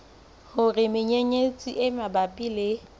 hore menyenyetsi e mabapi le